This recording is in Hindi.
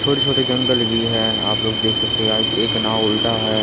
छोटे छोटे जंगल भी है आप लोग देख सकते हैं गाइज एक नाव उल्टा है।